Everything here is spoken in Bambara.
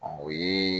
o ye